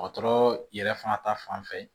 Dɔgɔtɔrɔ yɛrɛ fana ta fanfɛ